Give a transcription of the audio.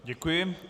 Děkuji.